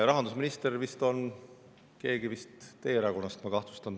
Rahandusminister oli tollal vist keegi teie erakonnast, ma kahtlustan.